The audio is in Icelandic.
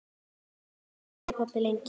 Nú þagði pabbi lengi.